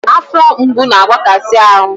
Afọ mgbu na-agbakasi ahụ